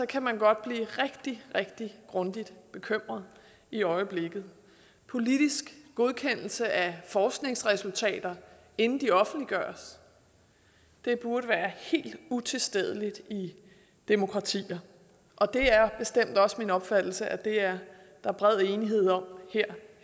kan man godt blive rigtig rigtig grundigt bekymret i øjeblikket politisk godkendelse af forskningsresultater inden de offentliggøres det burde være helt utilstedeligt i demokratier det er bestemt også min opfattelse at det er der bred enighed om her